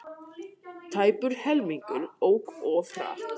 Tæpur helmingur ók of hratt